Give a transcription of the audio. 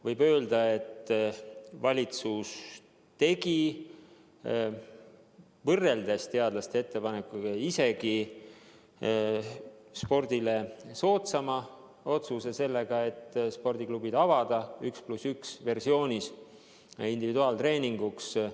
Võib öelda, et valitsus tegi võrreldes teadlaste ettepanekutega isegi spordile soodsama otsuse sellega, et lubas spordiklubid avada 1 + 1 versioonis individuaaltreeninguks.